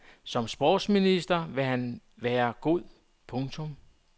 Som sportsminister vil han da være god. punktum